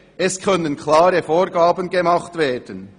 «Es können klare Vorgaben gemacht werden.